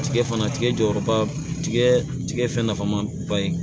Tigɛ fana tigɛ jɔyɔrɔba tigɛ tigɛ fɛn nafama ba ye